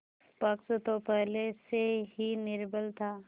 पक्ष तो पहले से ही निर्बल था